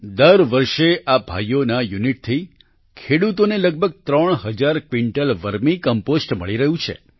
દર વર્ષે આ ભાઈઓના યૂનિટથી ખેડૂતોને લગબગ ત્રણ હજાર ક્વિંટલ વર્મી કમ્પોસ્ટ મળી રહ્યું છે